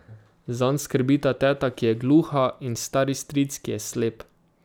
Zanj skrbita teta, ki je gluha, in stari stric, ki je slep.